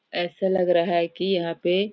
ऐसा लग रहा है की यहाँ पे--